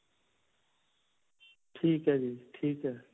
ਠੀਕ ਹੈ ਜੀ. ਠੀਕ ਹੈ.